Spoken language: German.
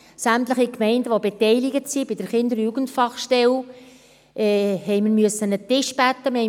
Sämtliche Gemeinden, die vonseiten der Kinder- und Jugendfachstelle beteiligt sind, haben wir an einen Tisch bitten müssen.